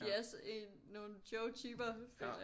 De er også en nogle Joe-typer føler jeg